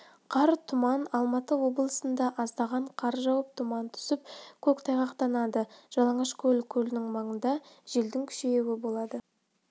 қар тұман алматы облысында аздаған қар жауып тұман түсіп көктайғақтанады жалаңашкөл көлінің маңында желдің күшеюі болады